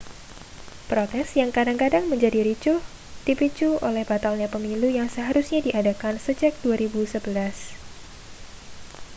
protes yang kadang-kadang menjadi ricuh dipicu oleh batalnya pemilu yang seharusnya diadakan sejak 2011